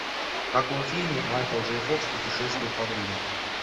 в каком фильме майкл джей фокс путешествует во времени